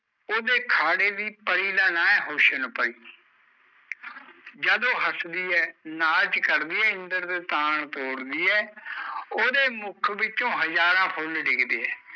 ਉਹਦੇ ਖਾੜੇ ਦੀ ਪਰੀ ਦਾ ਨਾ ਐ ਹੁਸਨ ਪਰੀ ਜਦ ਉਹ ਹੱਸਦੀ ਐ ਨਾਚ ਕਰਦੀ ਐ ਇੰਦਰ ਦੇ ਤਾਂਣ ਤੋੜਦੀ ਐ ਉਹਦੇ ਮੁੱਖ ਵਿੱਚੋਂ ਹਜ਼ਾਰਾਂ ਫੁੱਲ ਡਿੱਗਦੇ ਐ